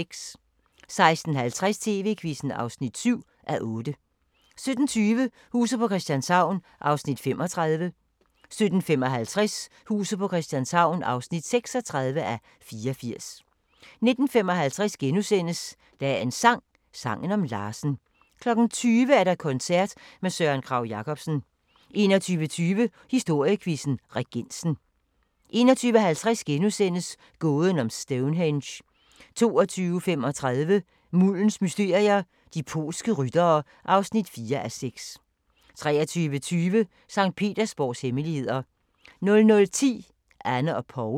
16:50: TV-Quizzen (7:8) 17:20: Huset på Christianshavn (35:84) 17:55: Huset på Christianshavn (36:84) 19:55: Dagens sang: Sangen om Larsen * 20:00: Koncert med Søren Kragh-Jacobsen 21:20: Historiequizzen: Regensen 21:50: Gåden om Stonehenge * 22:35: Muldens mysterier – de polske ryttere (4:6) 23:20: Sankt Petersborgs hemmeligheder 00:10: Anne og Paul